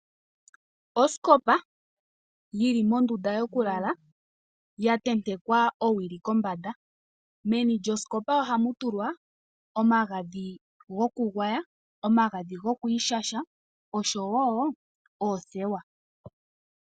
Osikopa yili mondunda yokulala yatentekwa owili kombanda, meni lyosikopa ohamutulwa omagadhi gokugwaya, omagadhi gokwiishasha osho wo oothewa.